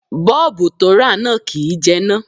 Bọ́ọ̀bù to rà náà kìí jẹná.